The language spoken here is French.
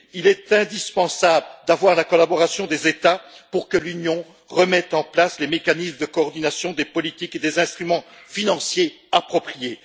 Il est indispensable d'avoir la collaboration des États pour que l'Union remette en place les mécanismes de coordination des politiques et des instruments financiers appropriés.